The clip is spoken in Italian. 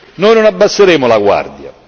Noi non abbasseremo la guardia.